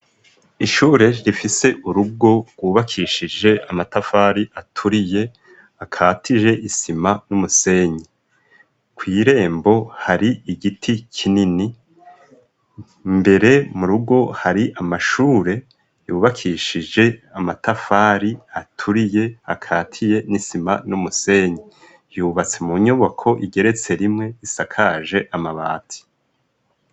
Ishure rifise urugo rwubakishije amatafari aturiye akatije isima n'umusenyi. Kw'irembo hari igiti kinini, imbere mu rugo hari amashure yubakishije amatafari aturiye akatiye n'isima n'umusenyi. Yubatse mu nyubako igeretse rimwe isakaje amabati.